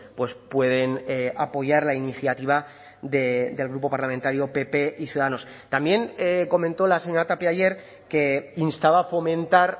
pues pueden apoyar la iniciativa del grupo parlamentario pp y ciudadanos también comentó la señora tapia ayer que instaba a fomentar